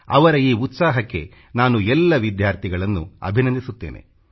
ಅವರ ಈ ಉತ್ಸಾಹಕ್ಕೆ ನಾನು ಎಲ್ಲ ವಿದ್ಯಾರ್ಥಿಗಳನ್ನು ಅಭಿನಂದಿಸುತ್ತೇನೆ